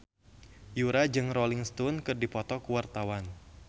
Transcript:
Yura jeung Rolling Stone keur dipoto ku wartawan